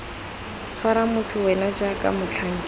tshwara motho wena jaaka motlhankedi